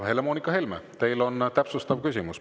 Helle-Moonika Helme, teil on täpsustav küsimus.